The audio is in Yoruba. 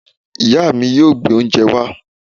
Ìya mi yóò gbé oúnjẹ wá